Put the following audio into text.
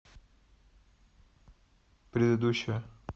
предыдущая